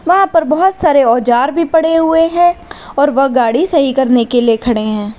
वहां पर बहोत सारे औजार भी पड़े हुए हैं और वह गाड़ी सही करने के लिए खड़े हैं।